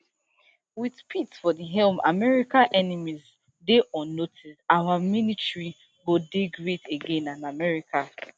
wit pete for di helm america enemies dey on notice our military go dey great again and america